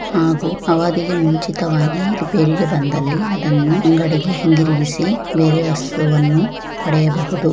ಹಾಗೂ ಅವದಿಗೆ ಮುಂಚಿತವಾಗಿ ರಿಪೇರಿಗೆ ಬಂದಲ್ಲಿ ಅದನ್ನು ಅಂಗಡಿಗೆ ಹಿಂದಿರುಗಿಸಿ ಬೇರೆ ವಸ್ತುವನ್ನು ಪಡೆಯಬಹುದು.